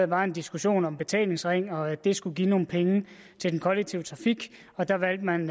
var en diskussion om betalingsringen og at det skulle give nogle penge til den kollektive trafik og der valgte man